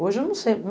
Hoje eu não sei.